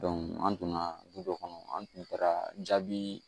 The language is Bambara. an donna du kɔnɔ an tun taara jaabi